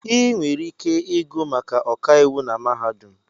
Ị nwere ike ịgụ maka ọkàiwụ na mahadum